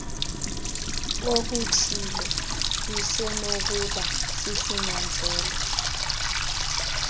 okuthile lusenokuba sisinyanzelo